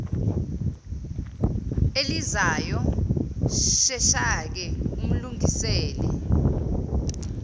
elizayo sheshake umlungisele